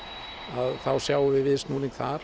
að þá sjáum við viðsnúning þar